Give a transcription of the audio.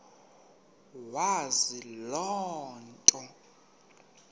wazi loo nto